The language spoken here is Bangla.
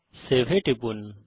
সেভ এ টিপুন